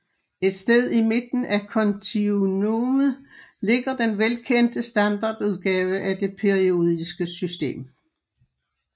Et sted i midten af kontinuumet ligger den velkendte standardudgave af det periodiske system